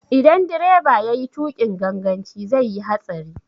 Idan direba yayi tuƙin ganganci zai yi hatsari.